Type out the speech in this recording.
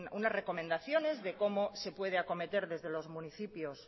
unas recomendaciones de cómo se puede acometer desde los municipios